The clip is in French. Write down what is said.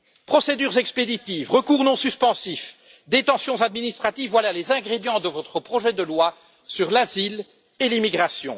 Procédures expéditives, recours non suspensifs, détentions administratives, voilà les ingrédients de votre projet de loi sur l'asile et l'immigration.